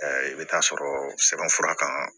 i bɛ taa sɔrɔ sɛbɛnfura kan